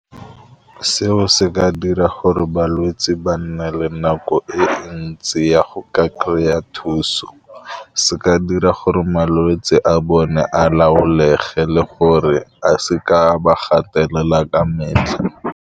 Seo se ka dira gore balwetsi ba nna le nako e ntsi ya go ka kry-e thuso, se ka dira gore malwetse a bone a laolega le gore a se ka ba gatelela ka metlha.